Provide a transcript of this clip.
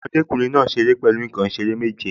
Ọmọdékùnrin náà ṣeré pẹ̀lú nǹkan ìṣeré méje